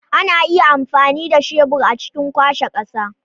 Ana iya amfani da shebur a cikin kwashe ƙasa.